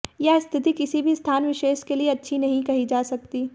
यह स्थिति किसी भी स्थान विशेष के लिए अच्छी नहीं कही जा सकती